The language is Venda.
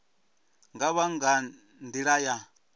nga vha nga nḓila ya